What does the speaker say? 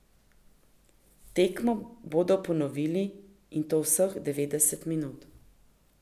Tekmo bodo ponovili, in to vseh devetdeset minut.